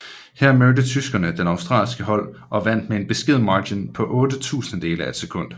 Her mødte tyskerne det australske hold og vandt med en beskeden margen på otte tusindedele af et sekund